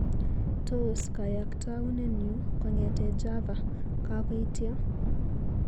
Tos kayaktaunenyu kong'ete Java kakoitya?